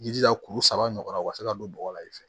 Jija kuru saba ɲɔgɔn na o ka se ka don bɔgɔ la i fɛ